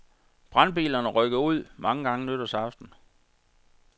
Brandbilerne rykkede ud mange gange nytårsaften.